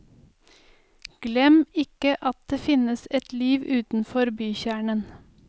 Glem ikke at det finnes et liv utenfor bykjernen.